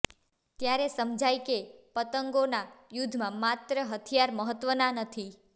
ત્યારે સમજાય કે પતંગોના યુદ્ધમાં માત્ર હથિયાર મહત્ત્વનાં નથી